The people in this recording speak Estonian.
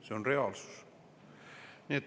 See on reaalsus.